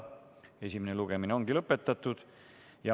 Esimene lugemine ongi lõpetatud.